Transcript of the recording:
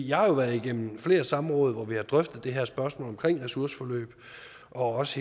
jeg har været igennem flere samråd hvor vi har drøftet det her spørgsmål omkring ressourceforløb og også